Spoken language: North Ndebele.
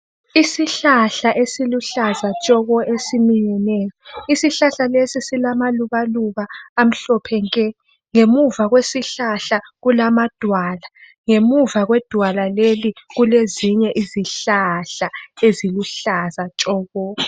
Isihlahla esiluhlaza tshoko esiminyeneyo. Isihlahla lesi silamalubaluba amhlophe nke ngemuva kwesihlahla kulamadwala. Ngemuva kwedwala leli kulezinye izihlahla eziluhlaza tshoko.